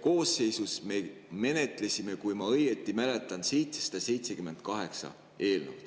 koosseisus me menetlesime, kui ma õigesti mäletan, 778 eelnõu.